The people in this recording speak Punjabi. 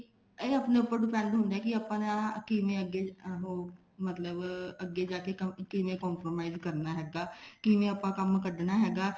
ਇਹ ਆਪਣੇ ਉੱਪਰ depend ਹੁੰਦਾ ਆਪਣਾ ਕਿਵੇਂ ਅੱਗੇ ਉਹ ਮਤਲਬ ਅੱਗੇ ਜਾ ਕੇ ਕਿਵੇਂ compromise ਕਰਨਾ ਹੈਗਾ ਕਿਵੇਂ ਆਪਾਂ ਕੰਮ ਕੱਡਣਾ ਹੈਗਾ